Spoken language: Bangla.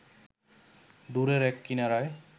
দূরের এক কিনারায়